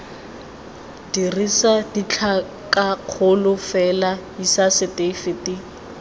dirisa ditlhakakgolo fela isa setefikeiti